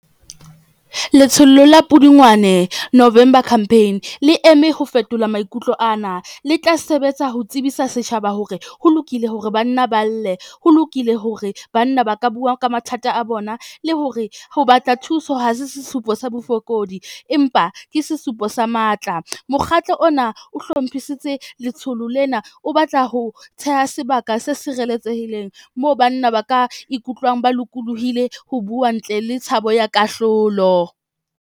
Letsholo la Pudungwane, November campaign le eme ho fetola maikutlo ana, le tla sebetsa ho tsebisa setjhaba hore ho lokile hore banna ba lle, ho lokile hore banna ba ka bua ka mathata a bona, le hore ho batla thuso ha se sesupo sa bofokodi, empa ke sesupo sa matla. Mokgatlo ona o hlomphisitse letsholo lena o batla ho theha sebaka se sireletsehileng moo banna ba ka ikutlwang ba lokolohile ho bua, ntle le tshabo ya kahlolo.